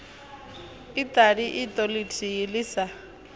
iṱali iṱo ḽithihi ḽi sa